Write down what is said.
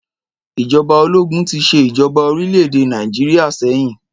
Ìjọba ológun tí ṣe ìjọba orílẹ̀-èdè Nàìjíríà sẹ́yìn